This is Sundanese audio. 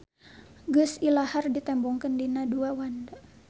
Geus ilahar ditembongkeun dina dua wanda.